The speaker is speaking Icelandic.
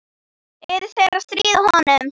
Er þeir að stríða honum?